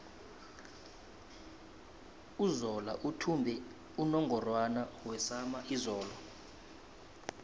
uzola uthumbe unungorwana wesama izolo